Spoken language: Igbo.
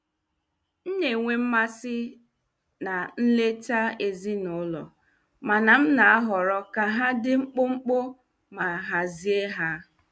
M na-enwe mmasị na nleta ezinụlọ, mana m na-ahọrọ ka ha dị mkpụmkpụ ma hazie ha.